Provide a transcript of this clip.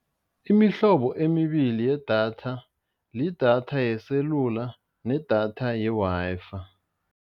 Imihlobo emibili yedatha, lidatha yeselula nedatha ye-Wi-Fi.